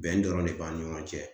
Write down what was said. Bɛn dɔrɔn de b'ani ɲɔgɔn cɛ